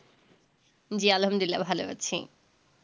জি আল্লাহামদুল্লিয়া ভালো আছি